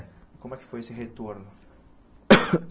Como é que foi esse retorno?